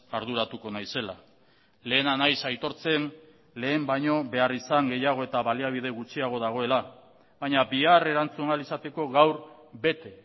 arduratuko naizela lehena naiz aitortzen lehen baino beharrizan gehiago eta baliabide gutxiago dagoela baina bihar erantzun ahal izateko gaur bete